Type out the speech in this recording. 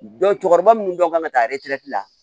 cɛkɔrɔba munnu bɛɛ kan ka taa la